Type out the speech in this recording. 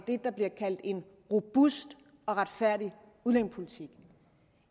det der bliver kaldt en robust og retfærdig udlændingepolitik